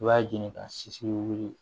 I b'a ɲini ka siri wuli